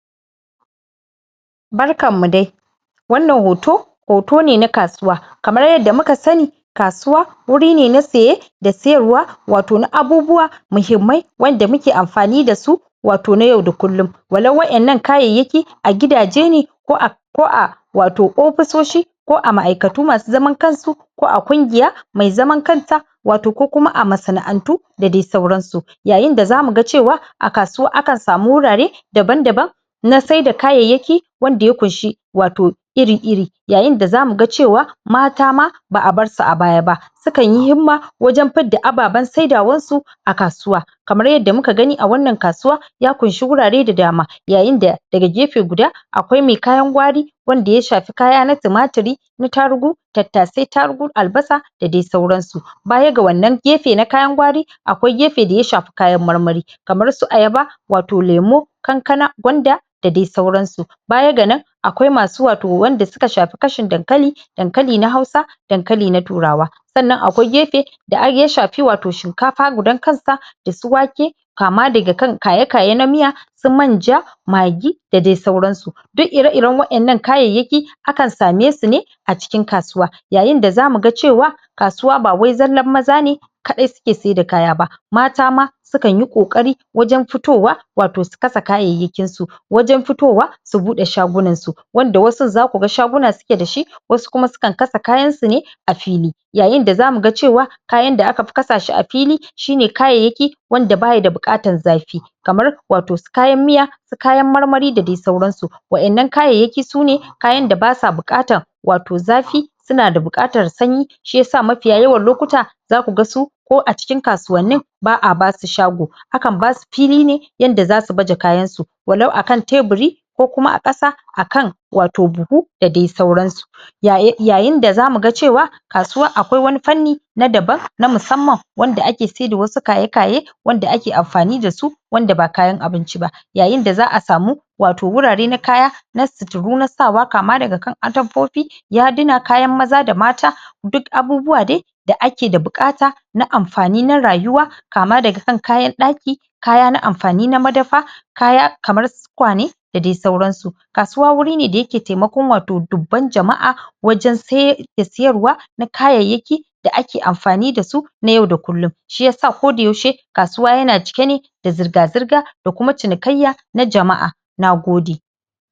barkan mu dai wannan hoto hoto ne na kasuwa kamar yadda muka sani kasuwa wuri ne na saye da sayarwa wato na abubuwa muhimmai wanda muke anfani da su wato na yau da kullun wallau waƴannan kayayyaki a gidaje ne ko a ko a wato ofisoshi ko a ma'ikatu masu zaman kansu ko a kungiya mai zaman wato kokuma a masana'atu da dai sauran su yayida zamu ga cewa a kasuwa akan samu wurare daban daban na sai da kayayyaki wanda ya kunshi wato iri iri yayin da zamu ga cewa mata ma ba 'a bar ba' a baya ba sukanyi himma wajen fidda ababban saidawan su akasuwa kamar yadda muka gani a wannan kasuwar ya kunshi wurare da dama yayin da daga gefe guda akwai mai kayan gwari wanda ya shafi kaya na timatiri na tarugu tattasai tarugu albasa da dai sauran su baga wannan gefe na kayan gwari akwai gefe daya shafi kayan marmari kanar su ayaba watoo lemo kankana gwanda da dai sauran su baya ga nan akwai masu wato wanda suka shafi kashin dankali dankalina hausa dankali na turawa sanan akwai gefe da ai yashafi wato shinkafa gudan kansa dasu wake kama daga kan kayeaye na miya manja magi da dai sauran su duk ire iren waƴannan kayayyaki akan same sune acikin kasuwa yayinda zamuga cewa kasuwa bawai zallan maza ne kaɗai suke saida kaya ba mata ma sukan yi ƙoƙari wajan fitowa wato sukasa kayayya kin su wajan fitowa buɗ shagunan su wanda wasun zaku ga shaguna su ke da sht wasu kuma sukan kasa kayan sune a fili yayinda zanuga cewa kayan da aka fi kasa shi a fili shine kayayyaki wanda bayi da buƙatan zafi kamar wato kayan miya su kayan marmari da dai suran su waƴannan kayayyakin sune kayan da basa bukatan wato zafi suns=a da buƴatan sanyi shiyasa maffiya yawan lokuta zakuga su koacikin kasuwannin ba'a basu shago akan basu fili ne yanda zasu baje kayansu wallau akan teburi ko kuma akasa akan wato buhu da dai sauran su yayin da zamu ga cewa kasuwa akwai wani fanni na daban na musamman wanda ake saida wasu kayekaye wanda ake anfani da su wanda ba kayan abinci ba yayih da za'a samu wato wurare na kaya na suturu na sawa kama daga kan atamfofi yaduna kayan maza da mata duk abubuwa dai da ake da bukata na anfani na rayuwa kama daga kan kayan ɗaki kaya na anfani na madafa kaya kamar tukwane da dai sauran su kasuwa wurine da yake taimako wato dubban jama'a wajan sai da siyarwa na kayayyaki da ake anfani dasu na yau da kullun shi yasa ako da yaushe kasuwa yana cike ne da zurga zurga da kuma cinikayya na jama'a Nagode